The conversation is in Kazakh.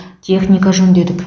техника жөндедік